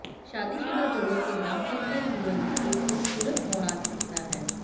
शादीशुदा जोड़ों के दांपत्य जीवन में एक खूबसूरत मोड़ आ सकता है